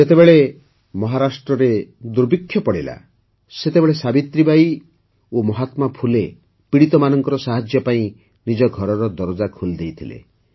ଯେତେବେଳେ ମହାରାଷ୍ଟ୍ରରେ ଦୁର୍ଭିକ୍ଷ ପଡ଼ିଲା ସେତେବେଳେ ସାବିତ୍ରୀବାଈ ଓ ମହାତ୍ମା ଫୁଲେ ପୀଡ଼ିତମାନଙ୍କ ସାହାଯ୍ୟ ପାଇଁ ନିଜ ଘରର ଦରଜା ଖୋଲିଦେଇଥିଲେ